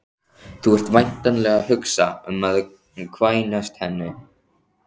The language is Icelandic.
Þú ert væntanlega að hugsa um að kvænast henni